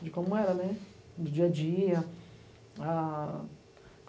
de como era, né, do dia a dia. Ah